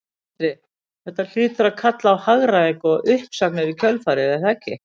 Sindri: Þetta hlýtur að kalla á hagræðingu og uppsagnir í kjölfarið er það ekki?